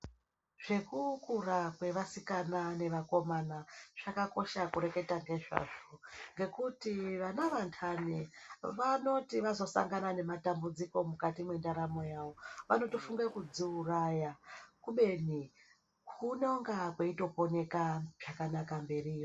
Zvekukura kwevasikana nevakomana zvakakosha kureketa ngezvazvo ngekuti vana vantani vanoti vazosangana nematambudziko mukati mwendaramo yawo vanotofunga kudziuraya kubeni kunonga kweitoponeka zvakanaka mberiyo.